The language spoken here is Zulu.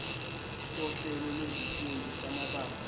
sohlelo lwezifundo samabanga